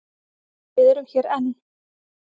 Við erum hér enn.